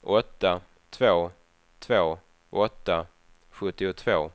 åtta två två åtta sjuttiotvå